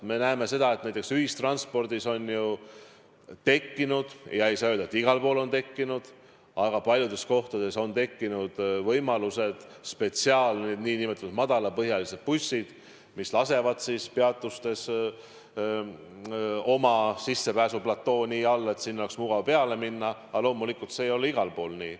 Me näeme seda, et näiteks ühistranspordis on tekkinud – ei saa öelda, et igal pool on tekkinud, aga paljudes kohtades on tekkinud – spetsiaalsed, nn madalapõhjalised bussid, mis lasevad peatustes sissepääsuplate alla, et sinna oleks mugav peale minna, aga loomulikult ei ole see igal pool nii.